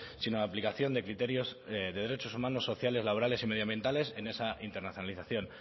sino la aplicación de criterios de derechos humanos sociales laborales y medioambientales en esa internacionalización